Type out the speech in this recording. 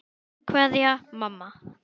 Kveðja, mamma.